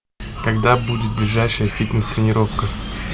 когда будет ближайшая фитнес тренировка